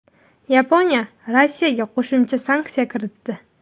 Yaponiya Rossiyaga qo‘shimcha sanksiya kiritdi.